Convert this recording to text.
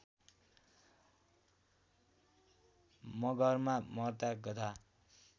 मगहरमा मर्दा गधा